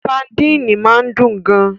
Sadini máa ń dùn gan-an